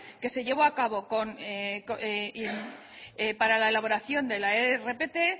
que se llevó a cabo para la elaboración de la rpt